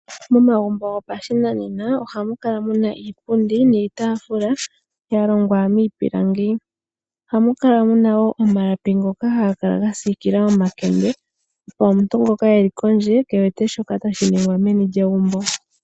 Momagumbo gopashinanena ohamu kala muna iipundi niitaafula yalongwa niipilangi . Ohamu kala muna wo omalapi ngoka haga kala gasiikila omakende opo omuntu ngoka eli kondje kaamone shoka tashi ningwa meni lyegumbo.